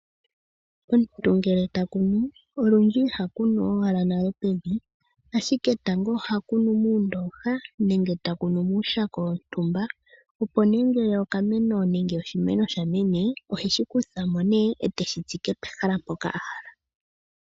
Omuntu ngele takunu olundji ihakunu owala nale pevi, ashike tango ohakunu muundoha nenge takunu muushako wontumba opo nee ngele okameno nenge oshimeno sha mene, oheshi kutha mo nee eteshi tsike pehala mpoka ahala.